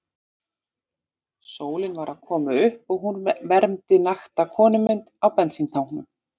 Sólin var að koma upp og hún vermdi nakta konumynd á bensíntanknum.